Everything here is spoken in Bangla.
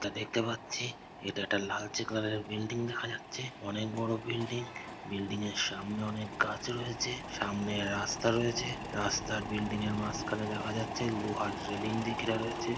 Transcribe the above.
এটা দেখতে পাচ্ছি এটা একটি লালচে কালার -এর বিল্ডিং দেখা যাচ্ছে। অনেক বড়ো বিল্ডিং । বিল্ডিং -এর সামনে অনেক গাছ রয়েছে। সামনে রাস্তা রয়েছে। রাস্তার বিল্ডিং -এর মাঝখানে দেখা যাচ্ছে লোহার রেলিং দিয়ে ঘেরা রয়েছে।